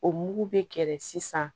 O mugu bɛ kɛlɛ sisan